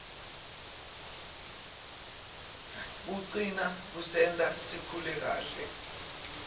kucina kusenta sikhule kahle